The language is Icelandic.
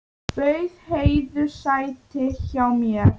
Bauð Heiðu sæti hjá mér.